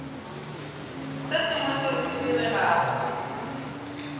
se sengwe seo se diregago